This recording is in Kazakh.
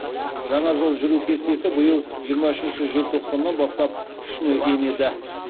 жаңа жол жүру кестесі биыл жиырма үшінші желтоқсаннан бастап күшіне енеді